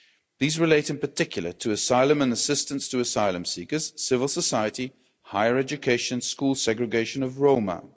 These relate, in particular, to asylum and assistance to asylum seekers, civil society and higher education school segregation of Roma.